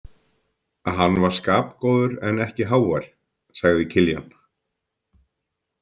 Hann var skapgóður en ekki hávær, sagði Kiljan.